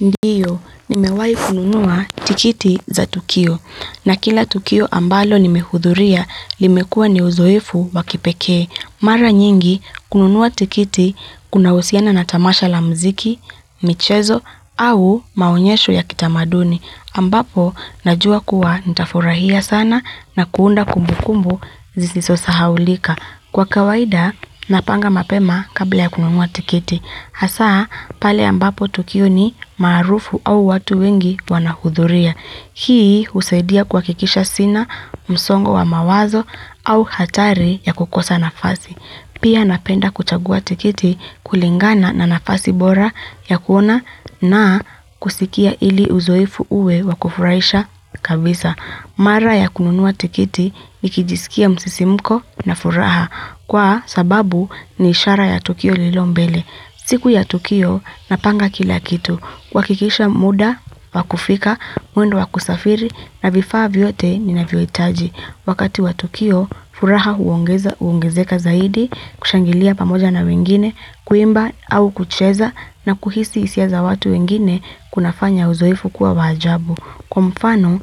Ndiyo, nimewahi kununua tikiti za Tukio. Na kila Tukio ambalo nimehudhuria, limekua ni uzoefu wa kipekee. Mara nyingi, kununua tikiti kuna husiana na tamasha la mziki, michezo, au maonyesho ya kitamaduni. Ambapo, najua kuwa nitafurahia sana na kuunda kumbu kumbu zisizo sahaulika. Kwa kawaida, napanga mapema kabla ya kununua tikiti. Hasaa, pale ambapo Tukio ni maarufu au watu wengi wanahudhuria. Hii husaidia kwa kuakkisha sina, msongo wa mawazo au hatari ya kukosa nafasi. Pia napenda kuchagua tikiti kulingana na nafasi bora ya kuona na kusikia ili uzoefu uwe wa kufuraisha kabisa. Mara ya kununua tikiti nikijisikia msisimko na furaha kwa sababu ni ishara ya Tukio lililo mbele. Siku ya Tukio, napanga kila kitu. Kuhakikisha muda, wa kufika, mwendo wa kusafiri, na vifaa vyote ninavyoitaji. Wakati wa Tukio, furaha huongezeka zaidi, kushangilia pamoja na wengine, kuimba au kucheza, na kuhisi hisia za watu wengine, kunafanya uzoefu kuwa wa ajabu. Kwa mfano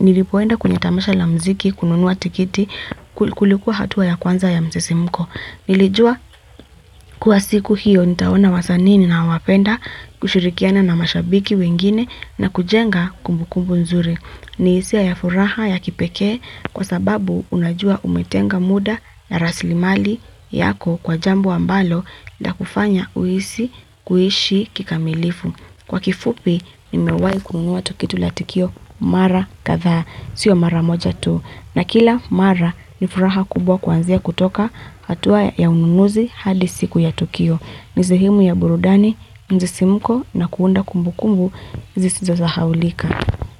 nilipoenda kwenye tamasha la mziki kununua tikiti kulikuwa hatua ya kwanza ya msisimuko. Nilijua kuwa siku hiyo nitaona wasanii ninaowapenda kushirikiana na mashabiki wengine na kujenga kumbukumbu nzuri. Ni hisia ya furaha ya kipekee kwa sababu unajua umetenga muda ya raslimali yako kwa jambo ambalo lakufanya uhisi kuishi kikamilifu. Kwa kifupi, nimewayi kununua tukiti la tukio mara kadha, sio mara moja tu. Na kila mara, ni furaha kubwa kwanzia kutoka hatua ya ununuzi hadi siku ya tukio. Nisehemu ya burudani, misisimuko na kuunda kumbu kumbu, zisizo sahaulika.